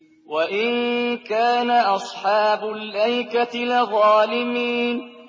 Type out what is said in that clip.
وَإِن كَانَ أَصْحَابُ الْأَيْكَةِ لَظَالِمِينَ